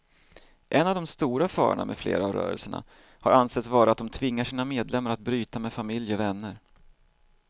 En av de stora farorna med flera av rörelserna har ansetts vara att de tvingar sina medlemmar att bryta med familj och vänner.